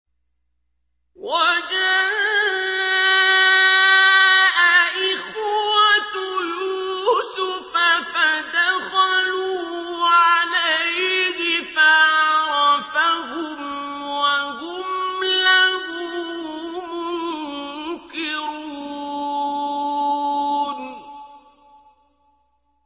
وَجَاءَ إِخْوَةُ يُوسُفَ فَدَخَلُوا عَلَيْهِ فَعَرَفَهُمْ وَهُمْ لَهُ مُنكِرُونَ